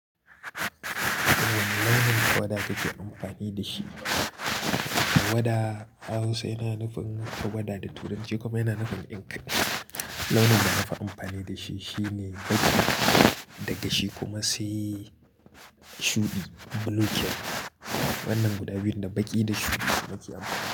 Launin tawada kake amfani da shi. Tawada a Hausa yana nufin tawada da turanci kuma yana nufin ink. Launin da na fi amfani da shi shine baƙi, daga shi kuma sai shuɗi, blue kenan. Wannan guda biyun, da baƙi da shuɗi nake Anfani.